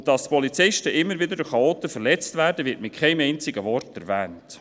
Dass Polizisten immer wieder durch Chaoten verletzt werden, wird mit keinem einzigen Wort erwähnt.